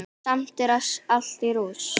Samt er allt í rúst.